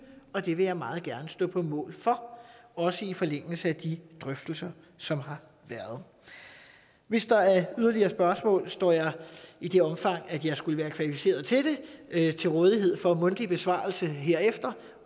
og det vil jeg meget gerne stå på mål for også i forlængelse af de drøftelser som har været hvis der er yderligere spørgsmål står jeg i det omfang jeg skulle være kvalificeret til det til rådighed for mundtlig besvarelse herefter